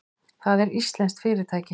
Það er íslenskt fyrirtæki.